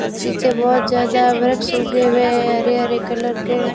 और पीछे बहोत ज्यादा वृक्ष उगे हुए हैं हरे हरे कलर के।